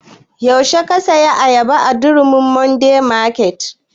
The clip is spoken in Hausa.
Yaushe ka saya ayaba daga durumi modern market?